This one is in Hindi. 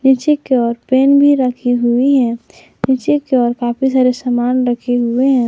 पीछे की ओर पेन भी रखी हुई है पीछे की ओर काफी सारे सामान रखे हुए हैं।